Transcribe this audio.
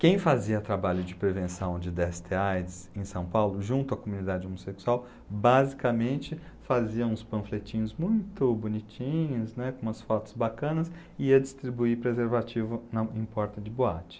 Quem fazia trabalho de prevenção de dê esse tê á i dê sê em São Paulo, junto à comunidade homossexual, basicamente fazia uns panfletinhos muito bonitinhos, né, com umas fotos bacanas, e ia distribuir preservativo na em porta de boate.